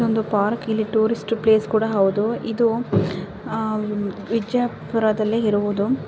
ಇದೊಂದು ಪಾರ್ಕ್ ಇದು tourist place ಕೂಡ ಹೌದು ಇದು ಆಹ್ ವಿಜಯಪುರದಲ್ಲಿ ಇರುವುದು.